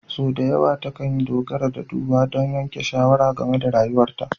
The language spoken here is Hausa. Sau da yawa takan dogara ga duba don yanke shawara game da rayuwarta.